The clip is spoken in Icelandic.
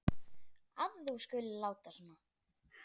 að þú skulir láta svona.